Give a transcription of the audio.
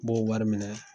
B'o wari minɛ